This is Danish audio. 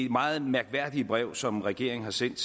meget mærkværdige brev som regeringen har sendt